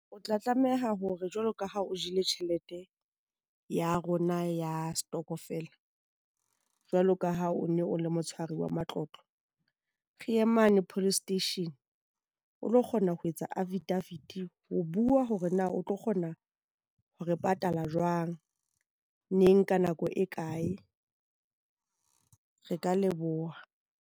O tla tlameha hore jwalo ka ha o jele tjhelete ya rona ya setokofela, jwalo ka ha o ne o le motshwari wa matlotlo, re ye mane police station, o lo kgona ho etsa affidavit ho bua hore na o tlo kgona ho re patala jwang, neng, ka nako e kae. Re ka leboha.